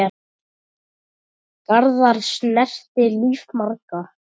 Garðar snerti líf margra.